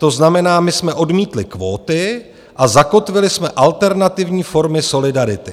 To znamená, my jsme odmítli kvóty a zakotvili jsme alternativní formy solidarity.